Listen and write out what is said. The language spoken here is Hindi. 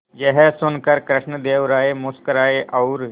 यह सुनकर कृष्णदेव राय मुस्कुराए और